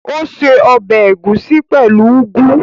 Ó ṣe ọbẹ̀ ẹ̀gúsí pẹ̀lú úgú